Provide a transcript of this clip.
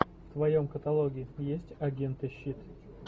в твоем каталоге есть агенты щит